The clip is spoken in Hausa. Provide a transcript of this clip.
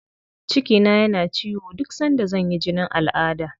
Cikina yana ciwo duk sanda zan yi jinin al'adda.